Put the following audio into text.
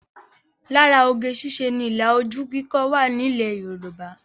Lára oge ṣíṣe ni ilà ojú kíkọ wà ní ilẹ̀ Yorùbá